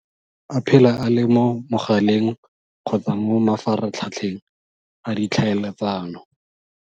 A phela a le mo mogaleng kgotsa mo mafaratlhatlheng a ditlhaeletsano.